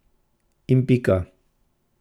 In pika.